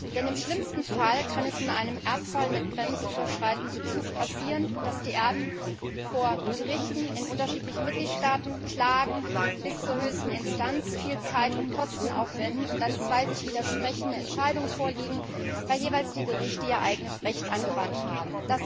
Denn im schlimmsten Fall kann es in einem Erbfall mit grenzüberschreitendem Bezug passieren, dass die Erben vor Gerichten in unterschiedlichen Mitgliedstaaten bis zur höchsten Instanz klagen, viel Zeit und Kosten aufwenden, und dass dann zwei einander widersprechende Entscheidungen vorliegen, weil die Gerichte jeweils ihr eigenes Recht angewandt haben.